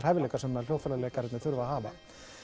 hæfileikar sem hljóðfæraleikararnir þurfa að hafa